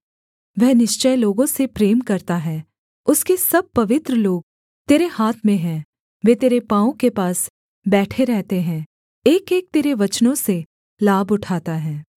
वह निश्चय लोगों से प्रेम करता है उसके सब पवित्र लोग तेरे हाथ में हैं वे तेरे पाँवों के पास बैठे रहते हैं एकएक तेरे वचनों से लाभ उठाता है